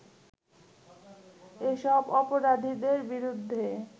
এসব অপরাধীদের বিরুদ্ধে